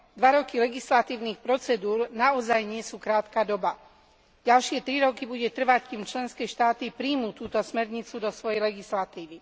Dva roky legislatívnych procedúr naozaj nie je krátka doba. Ďalšie tri roky bude trvať, kým členské štáty prijmú túto smernicu do svojej legislatívy.